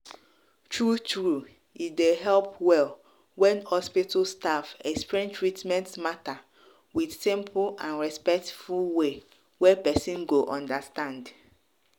true-true e dey help well when hospital staff explain treatment matter with simple and respectful way wey person go understand.